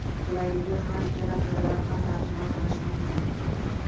Qulayligi – har ikkala tildan ham tarjima qilish mumkin.